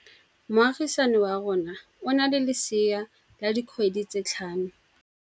Moagisane wa rona o na le lesea la dikgwedi tse tlhano.